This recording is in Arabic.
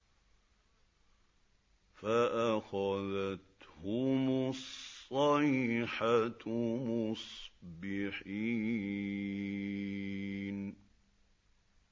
فَأَخَذَتْهُمُ الصَّيْحَةُ مُصْبِحِينَ